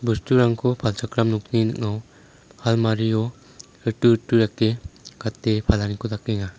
bosturangko palchakram nokni ning·ao almario ritu ritu dake gate palaniko dakenga.